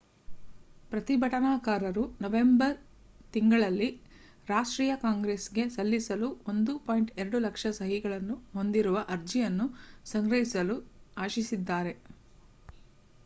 ಪ್ರತಿಭಟನಾಕಾರರು ನವೆಂಬರ್ ತಿಂಗಳಿನಲ್ಲಿ ರಾಷ್ಟ್ರೀಯ ಕಾಂಗ್ರೆಸ್‌ಗೆ ಸಲ್ಲಿಸಲು 1.2 ಲಕ್ಷ ಸಹಿಗಳನ್ನು ಹೊಂದಿರುವ ಅರ್ಜಿಯನ್ನು ಸಂಗ್ರಹಿಸಲು ಆಶಿಸಿದ್ದಾರೆ